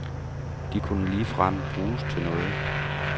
De kunne ligefrem bruges til noget.